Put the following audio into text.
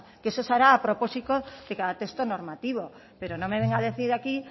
que eso se hará a propósito de cada texto normativo pero no venga a decir aquí